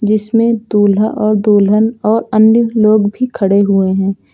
इसमें दूल्हा और दुल्हन और अन्य लोग भी खड़े हुए हैं।